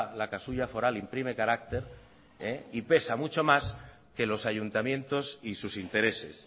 la casulla foral imprime carácter y pesa mucho más que los ayuntamientos y sus intereses